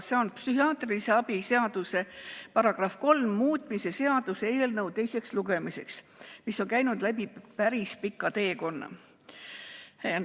See on psühhiaatrilise abi seaduse § 3 muutmise seaduse eelnõu, mis on käinud läbi päris pika teekonna.